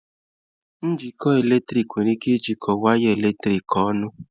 Njikọ eletrik nwere ike ijikọọ waya eletrik ọnụ